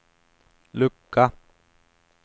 lucka